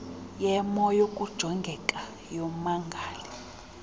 yemo yokujongeka kommangali